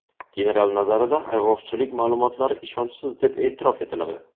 General nazarida ayg‘oqchilik ma’lumotlari ishonchsiz deb e’tirof etiladi.